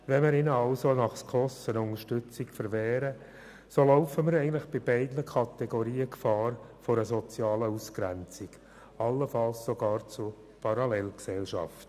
Wenn wir ihnen also eine Unterstützung nach SKOS-Richtlinien verwehren, besteht bei beiden Kategorien die Gefahr einer sozialen Ausgrenzung, allenfalls sogar einer Parallelgesellschaft.